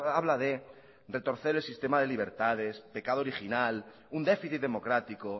habla de retorcer el sistema de libertades pecado original un déficit democrático